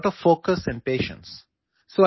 ചെസിന് വളരെയധികം ശ്രദ്ധയും ക്ഷമയും ആവശ്യമാണ്